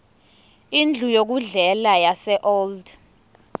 indlu yokudlela yaseold